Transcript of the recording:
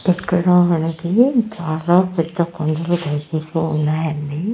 ఇక్కడ మనకి చాలా పెద్ద కొండలు కనిపిస్తూ ఉన్నాయండి.